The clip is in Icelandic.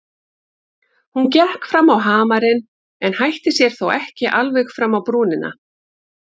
Hún gekk fram á hamarinn en hætti sér þó ekki alveg fram á brúnina.